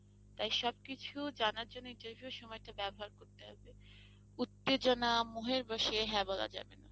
তাই সবকিছু জানার জন্য interview সময়টা ব্যবহার করতে হবে, উত্তেজনা মোহের বশে হ্যাঁ বলা যাবে না।